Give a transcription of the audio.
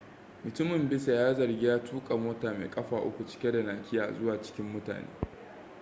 mutumin bisa ga zargi ya tuka mota mai kafa uku cike da nakiya zuwa cikin mutane